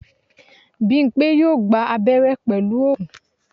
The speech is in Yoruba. Bímpé yóò gba abẹ́rẹ́ pẹ̀lú oògùn